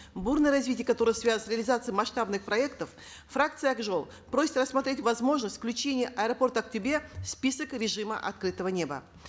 бурное развитие которого связывают с реализацией масштабных проектов фракция ак жол просит рассмотреть возможность включения аэропорта актобе в список режима открытого неба